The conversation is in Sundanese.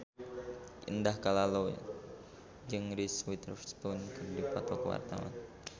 Indah Kalalo jeung Reese Witherspoon keur dipoto ku wartawan